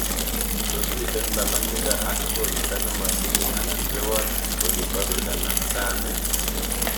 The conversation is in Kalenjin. Tos miten lolongindo ak koristo nematilil anan rewot olin bo Turkana Rani